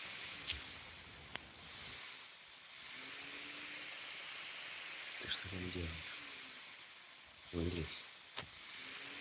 ты что там делаешь не лезь